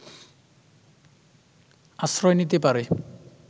আশ্রয় নিতে পারে